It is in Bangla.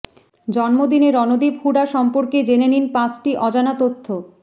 জন্মদিনে রণদীপ হুডা সম্পর্কে জেনে নিন পাঁচটি অজানা তথ্য